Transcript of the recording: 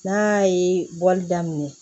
N'a ye bɔli daminɛ